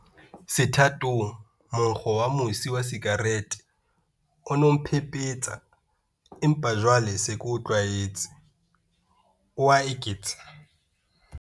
Sethatong, monkgo wa mosi wa sikarete o ne o mphephetsa, empa jwale ke se ke o tlwaetse, o a eketsa.